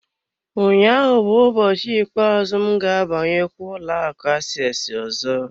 Ụnyaahụ bụ ụbọchị ikpeazụ m ga-abanyekwa ụlọ akụ aseesi ọzọ.